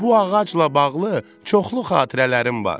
Bu ağacla bağlı çoxlu xatirələrim var.